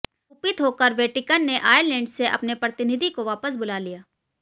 कुपित होकर वेटीकन ने आयरलैंड से अपने प्रतिनिधि को वापस बुला लिया